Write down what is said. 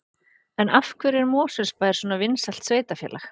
En af hverju er Mosfellsbær svona vinsælt sveitarfélag?